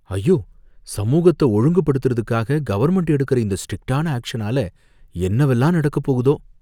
ஐயோ! சமூகத்த ஒழுங்குபடுத்தறதுக்காக கவர்ன்மெண்ட் எடுக்குற இந்த ஸ்ட்ரிக்ட்டான ஆக்ஷனால என்னவெல்லாம் நடக்கப் போகுதோ.